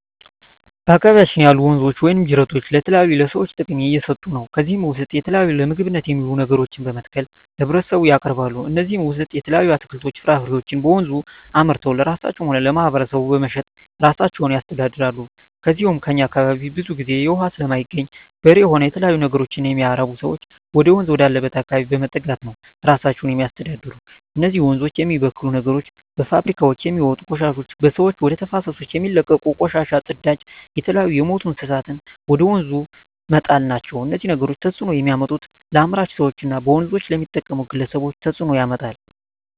በአካባቢያችን ያሉ ወንዞች ወይም ጅረቶች ለተለያዩ ለሰዎች ጥቅም እየሠጡ ነው ከዚህ ውስጥ የተለያዩ ለምግብነት የሚውሉ ነገሮችን በመትከል ለህብረተሰቡ ያቀርባሉ ከነዚህም ውሰጥ የተለያዩ አትክልቶች ፍራፍሬዎችን በወንዙ አምርተው ለራሳቸው ሆነ ለማህበረሰቡ በመሸጥ እራሳቸውን ያስተዳድራሉ ከዚው ከእኛ አካባቢም ብዙ ግዜ እውሃ ስለማይገኝ በሬ ሆነ የተለያዩ ነገሮች የሚያረቡ ሰዎች ወደወንዝ ወዳለበት አካባቢ በመጠጋት ነው እራሳቸውን የሚያስተዳድሩ እነዚህ ወንዞች የሚበክሉ ነገሮች በፋብሪካውች የሚወጡ ቆሻሾች በሰዎች ወደ ተፋሰሶች የሚለቀቁ ቆሻሻ ጽዳጅ የተለያዩ የምቱ እንስሳትን ወደ ወንዙ መጣል ናቸው እነዚህ ነገሮች ተጽዕኖ የሚያመጡት ለአምራች ሰዎች እና በወንዞች ለሚጠቀሙ ግለሰቦች ተጽእኖ ያመጣል